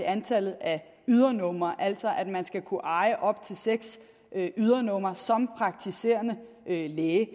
antal ydernumre altså at man skal kunne eje op til seks ydernumre som praktiserende læge